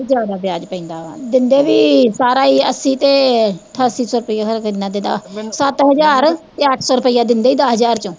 ਜ਼ਿਆਦਾ ਵਿਆਜ਼ ਪੈਂਦਾ ਵਾਂ, ਦਿੰਦੇ ਵੀ ਸਾਰਾ ਈ ਅੱਸੀ ਤੇ ਠਾਸੀ ਸੌ ਰੁਪਿਆ ਖਰੇ ਕਿੰਨਾ ਦਿਦਾ ਸੱਤ ਹਜ਼ਾਰ ਤੇ ਅੱਠ ਸੌ ਰੁਪਿਆ ਦਿੰਦੇ ਈ ਦੱਸ ਹਜ਼ਾਰ ਚੋਂ